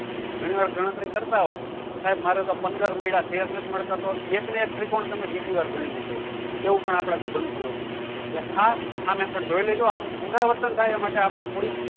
ઘણી વાર ગણતરી કરતા હો તો શાયદ મારો તો પંદર મળ્યા તો તેર નથ મળતા તો એક ન એક ત્રિકોણ ને તમે બીજી વાર ગની એવું પણ આપડા થી બનતું હોય ખાસ આ method જોઈ લેજો આનું પુર્નાવ્ર્ત્ન થાય એના માટે આપળે થોડીક